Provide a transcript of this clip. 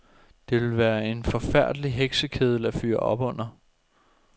Det ville være en forfærdelig heksekedel at fyre op under.